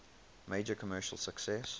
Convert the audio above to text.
major commercial success